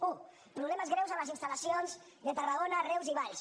u problemes greus a les instal·lacions de tarragona reus i valls